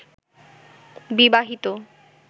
বিবাহিত